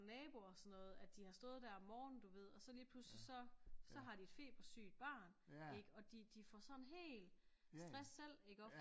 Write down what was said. Og naboer og sådan noget at de har stået der om morgenen du ved og så lige pludseligt så så har de et febersygt barn ikke og de får sådan helt stress selv iggå